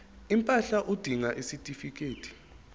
impahla udinga isitifikedi